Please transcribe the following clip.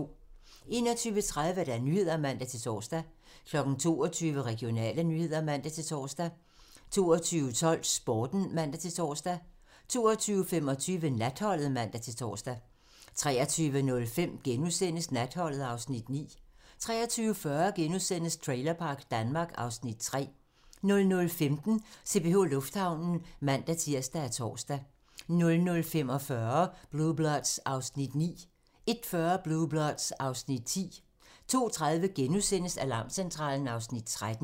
21:30: Nyhederne (man-tor) 22:00: Regionale nyheder (man-tor) 22:12: Sporten (man-tor) 22:25: Natholdet (man-tor) 23:05: Natholdet (Afs. 9)* 23:40: Trailerpark Danmark (Afs. 3)* 00:15: CPH Lufthavnen (man-tir og tor) 00:45: Blue Bloods (Afs. 9) 01:40: Blue Bloods (Afs. 10) 02:30: Alarmcentralen (Afs. 13)*